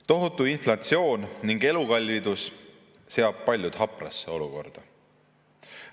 Tohutu inflatsioon ning elukallidus seavad paljud haprasse olukorda.